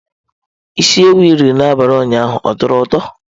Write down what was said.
Isi ewu i riri n'abalị ụnyaahụ ọ tọrọ ụtọ?